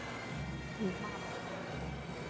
Ég man ekki